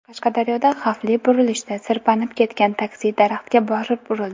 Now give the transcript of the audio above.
Qashqadaryoda xavfli burilishda sirpanib ketgan taksi daraxtga borib urildi.